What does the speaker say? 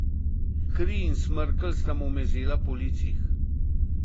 Kri in smrkelj sta mu mezela po licih.